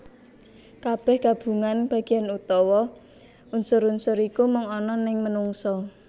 Kabeh gabungan bagian utawa unsur unsur iku mung ana neng menungsa